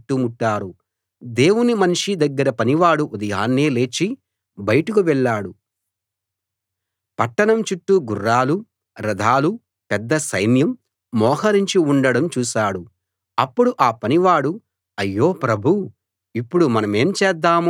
దేవుని మనిషి దగ్గర పనివాడు ఉదయాన్నే లేచి బయటకు వెళ్ళాడు పట్టణం చుట్టూ గుర్రాలూ రథాలూ పెద్ద సైన్యం మోహరించి ఉండటం చూశాడు అప్పుడు ఆ పనివాడు అయ్యో ప్రభూ ఇప్పుడు మనమేం చేద్దాం అని దేవుని మనిషితో అన్నాడు